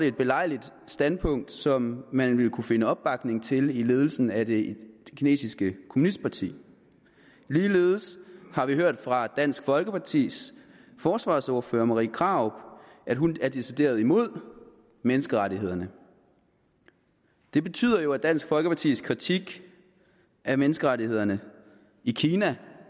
et belejligt standpunkt som man ville kunne finde opbakning til i ledelsen af det kinesiske kommunistparti ligeledes har vi hørt fra dansk folkepartis forsvarsordfører fru marie krarup at hun er decideret imod menneskerettighederne det betyder jo at dansk folkepartis kritik af menneskerettighederne i kina